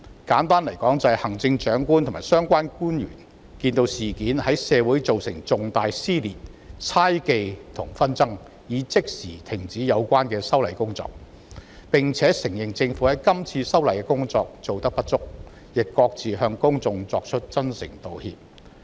簡單來說，就是行政長官及相關官員看到事件在社會造成了重大撕裂、猜忌和紛爭後，已即時停止有關的修例工作，並承認政府今次修例的工作做得不足，亦各自向公眾作出真誠道歉。